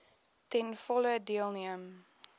ten volle deelneem